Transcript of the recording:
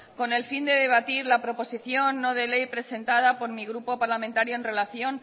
con el fin de debatir la proposición no de ley presentada por mi grupo parlamentario en relación